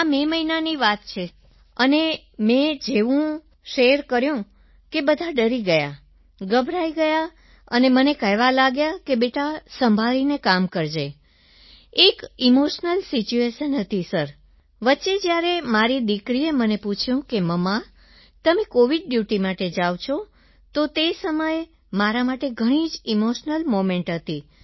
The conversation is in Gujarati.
આ મે મહિનાની વાત છે અને મેં જેવું મેં શેર કર્યું કે બધા ડરી ગયા ગભરાઈ ગયા અને મને કહેવા લાગ્યા કે બેટા સંભાળીને કામ કરજે એક ઇમોશનલ સિચ્યુએશન હતી સરવચ્ચે જ્યારે મારી દિકરીએ મને પૂછ્યું મુમ્મા તમે કોવિડ ડ્યૂટી માટે જાવ છો તો તે સમય મારા માટે ઘણી જ ઇમોશનલ મોમેન્ટ હતી